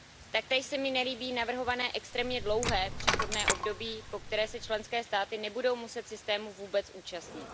Taktéž se mi nelíbí navrhované extrémně dlouhé přechodné období, po které se členské státy nebudou muset systému vůbec účastnit.